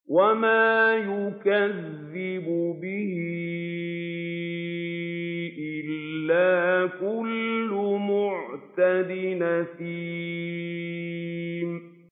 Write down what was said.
وَمَا يُكَذِّبُ بِهِ إِلَّا كُلُّ مُعْتَدٍ أَثِيمٍ